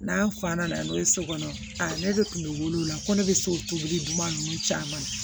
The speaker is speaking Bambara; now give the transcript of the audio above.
N'a fa nana n'o ye so kɔnɔ a ne bɛ kunkolo wolo la ko ne bɛ so tobili duman ninnu caman